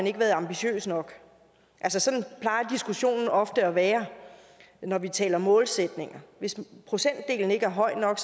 ikke være ambitiøse nok altså sådan plejer diskussionen ofte at være når vi taler målsætninger hvis procentdelen ikke er høj nok